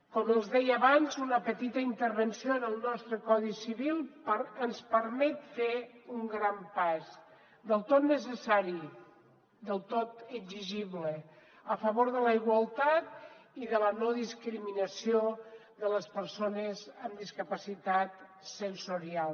com els deia abans una petita intervenció en el nostre codi civil ens permet fer un gran pas del tot necessari del tot exigible a favor de la igualtat i de la no discriminació de les persones amb discapacitat sensorial